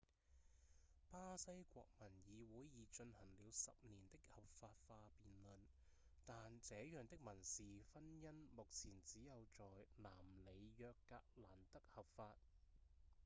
巴西國民議會已進行了10年的合法化辯論但這樣的民事婚姻目前只有在南里約格蘭德合法